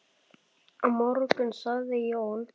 Á morgun sagði Jón.